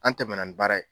An tɛmɛnna ni baara ye